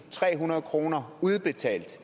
trehundrede kroner udbetalt